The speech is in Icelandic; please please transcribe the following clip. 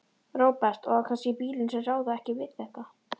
Róbert: Og á kannski bílum sem ráða ekki við þetta?